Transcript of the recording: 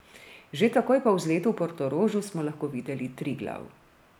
Že takoj po vzletu v Portorožu smo lahko videli Triglav.